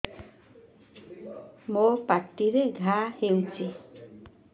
ମୋର ପାଟିରେ ଘା ହେଇଚି